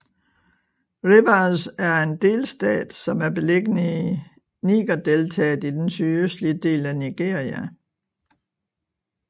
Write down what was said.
Rivers er en delstat som er beliggende i Nigerdeltaet i den sydøstlige del af Nigeria